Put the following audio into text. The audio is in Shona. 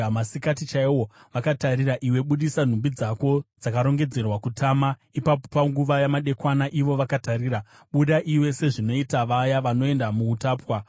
Masikati chaiwo, vakatarira, iwe budisa nhumbi dzako dzakarongedzerwa kutama. Ipapo panguva yamadekwana, ivo vakatarira, buda iwe sezvinoita vaya vanoenda muutapwa.